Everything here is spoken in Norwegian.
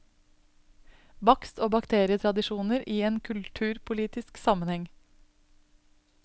Bakst og baketradisjoner i en kulturpolitisk sammenheng.